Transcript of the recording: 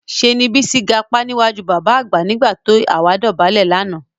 Ṣé ni Bísí gapá níwájú bàbá àgbà nígbà tó àwa dọ̀bálẹ̀ lánàá